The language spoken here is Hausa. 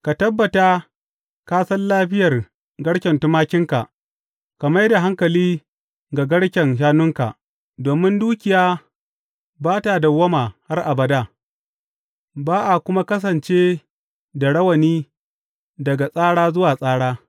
Ka tabbata ka san lafiyar garken tumakinka, ka mai da hankali ga garken shanunka; domin dukiya ba ta dawwama har abada, ba a kuma kasance da rawani daga tsara zuwa tsara.